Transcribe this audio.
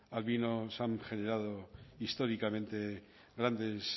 al vino se han generado históricamente grandes